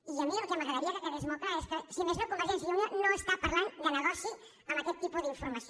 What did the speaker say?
i a mi el que m’agradaria que quedés molt clar és que si més no convergència i unió no està parlant de negoci amb aquest tipus d’informació